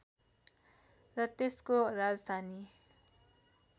र त्यसको राजधानी